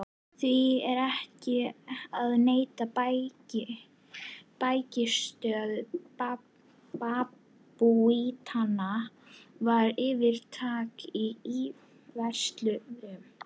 Því er ekki að neita: bækistöð babúítanna var fyrirtaks íverustaður.